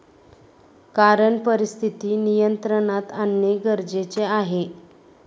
कारण परिस्थिती नियंत्रणात आणणे गरजेचे आहे.